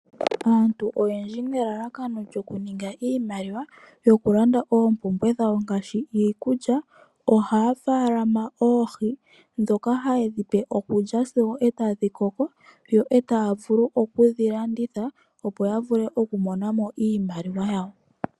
Aantu oyendji ye na elalakano lyokuninga iimaliwa yokulanda oompumbwe dhawo ngaashi iikulya, ohaya faalama oohi ndhoka haye dhi pe okulya sigo e tadhi koko, yo e taya vulu oku dhi landitha opo ya vule okumona mo iimaliwa yawo.